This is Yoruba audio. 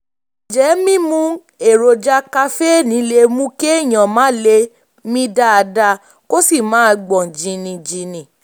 ǹjẹ́ mímu èròjà kaféènì lè mú kéèyàn má lè mí dáadáa kó sì máa gbọ̀n jìnnìjìnnì?